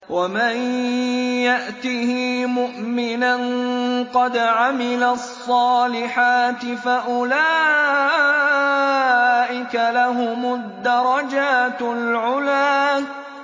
وَمَن يَأْتِهِ مُؤْمِنًا قَدْ عَمِلَ الصَّالِحَاتِ فَأُولَٰئِكَ لَهُمُ الدَّرَجَاتُ الْعُلَىٰ